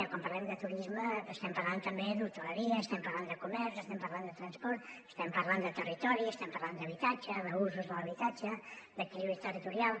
quan parlem de turisme estem parlant també d’hoteleria estem parlant de comerç estem parlant de transport estem parlant de territori i estem parlant d’habitatge d’usos de l’habitatge d’equilibri territorial